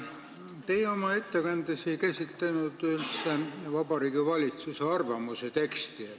Te oma ettekandes ei käsitlenud üldse Vabariigi Valitsuse arvamust.